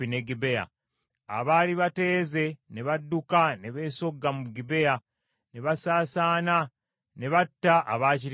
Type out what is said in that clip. Abaali bateeze ne badduka ne beesogga mu Gibea, ne basaasaana ne batta abaakirimu bonna.